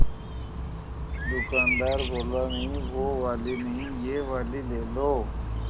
दुकानदार बोला नहीं वो वाली नहीं ये वाली ले लो